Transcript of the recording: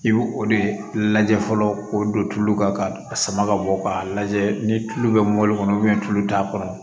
I bɛ o de lajɛ fɔlɔ k'o don tulu kɔnɔ ka sama ka bɔ k'a lajɛ ni tulu bɛ mɔli kɔnɔ tulu t'a kɔrɔ